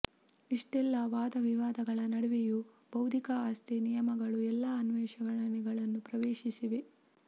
ಇಷ್ಟೆಲ್ಲಾ ವಾದ ವಿವಾದಗಳ ನಡುವೆಯೂ ಬೌದ್ಧಿಕ ಆಸ್ತಿ ನಿಯಮಗಳು ಎಲ್ಲಾ ಅನ್ವೇಷಣೆಗಳನ್ನು ಪ್ರವೇಶಿಸಿವೆ